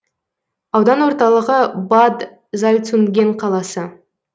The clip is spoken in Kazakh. аудан орталығы бад зальцунген қаласы